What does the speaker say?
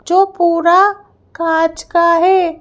जो पूरा कांच का है।